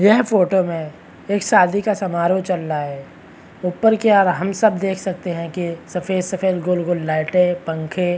यह फोटो में एक शादी का समारोह चल रहा है ऊपर की ओर हम सब देख सकते है की सफ़ेद सफ़ेद गोल-गोल लाइटे और पंखे--